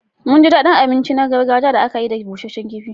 Mun ji daɗin abinci na gargajiya da aka yi da busasshen kifi.